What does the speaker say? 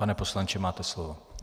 Pane poslanče, máte slovo.